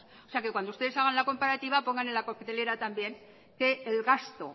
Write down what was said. o sea que cuando ustedes hagan la comparativa pongan en la coctelera también que el gasto